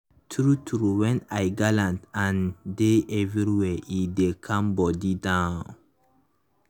true true when i galant and dey everywhere e dey calm body down.